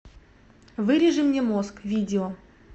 вырежи мне мозг видео